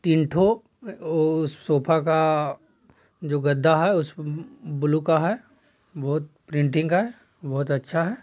तीन ढू वू-सोफ़ा का जो गद्दा है उस ब्लू का है बहोत प्रिंटिग है बहोत अच्छा है।